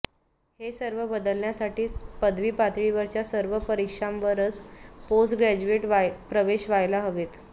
हे सर्व बदलण्यासाठी पदवी पातळीवरच्या सर्व परीक्षांवरच पोस्ट ग्रॅज्युएट प्रवेश व्हायला हवेत